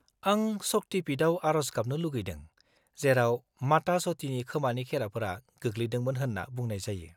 -आं शक्ति पीठआव आरज गाबनो लुगैदों, जेराव माता सतीनि खोमानि खेराफोरा गोग्लैदोंमोन होनना बुंनाय जायो।